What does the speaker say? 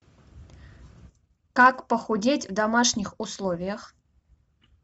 как похудеть в домашних условиях